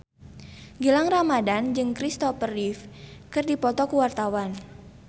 Gilang Ramadan jeung Christopher Reeve keur dipoto ku wartawan